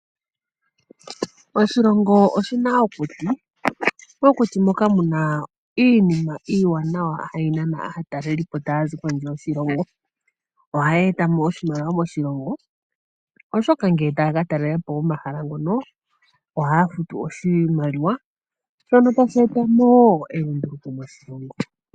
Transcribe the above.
Oshilongo oshi na okuti, mokuti moka muna iinima iiwanawa hayi nana aatalelipo taa zi kondje yoshilongo. Ohaya e ta mo oshimaliwa moshilongo oshoka ngele taya ka talela po omahala ngono ohaya futu oshimaliwa shono tashi e ta mo wo elunduluko moshilongo.